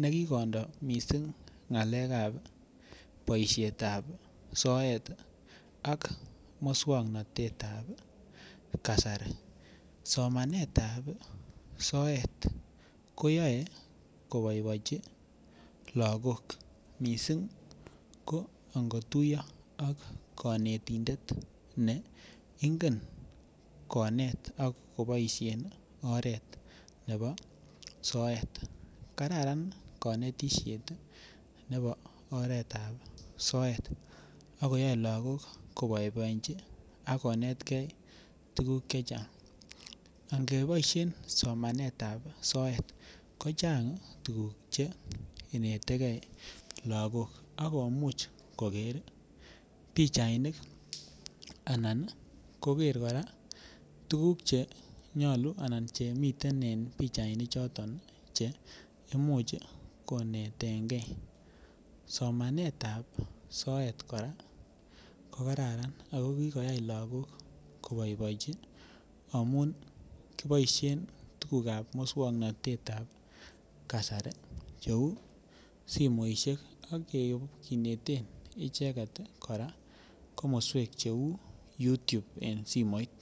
ne kikondo missing ngalekab boishetab soet ak muswongnotetab kasari, somanetab soet koyoe koboiboienchi logok missing ango tuyo ak konetindet ne ingen konet ak koboishen oret nebo soet kararan konetishet nebo oretab soet ak koyoe look ko boiboiechi ak konetke tuguk chechang angeboishen somanetab soet kochanga tuguk che inete gee logok ak komuch koger pichainik anan ii koger koraa tuguk che nyoluu anan chemiten en pichait noton che imuch konetegee, somanetab soet koraa ko kararan ako kigoyay logok ko boiboiechi amun kiboishen tugukab muswongnotetab kasari che uu simoishek ak kineten icheget koraa komoswek che uu youtube en simoit